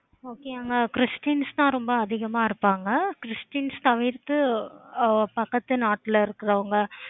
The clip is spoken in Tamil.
okay அங்க christian தான் ரொம்ப அதிகமா இருந்தாங்க. christians தவிர்த்து பக்கத்து நாட்டுல இருக்குறவங்க